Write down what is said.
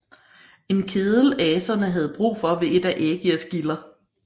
En kedel aserne havde brug for ved et af Ægirs gilder